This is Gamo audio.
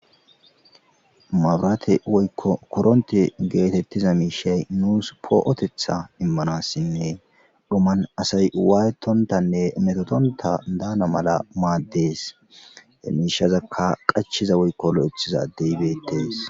Mabraate woykko koronte geetettiza miishay nuus poo'otetha immanassinne doman asay waayetontanne metotonta daana mala maaddees miishazakka qachiza woykko lo'ethizadeybeetees.